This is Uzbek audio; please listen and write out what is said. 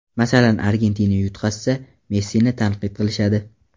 Masalan, Argentina yutqazsa, Messini tanqid qilishadi.